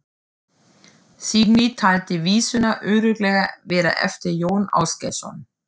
Signý taldi vísuna örugglega vera eftir Jón Ásgeirsson.